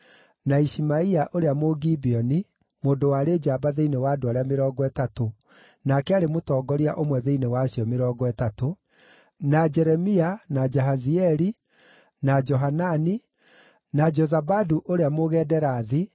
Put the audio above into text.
na Ishimaia ũrĩa Mũgibeoni, mũndũ warĩ njamba thĩinĩ wa andũ arĩa Mĩrongo Ĩtatũ, nake aarĩ mũtongoria ũmwe thĩinĩ wa acio Mĩrongo Ĩtatũ; na Jeremia, na Jahazieli, na Johanani, na Jozabadu ũrĩa Mũgederathi,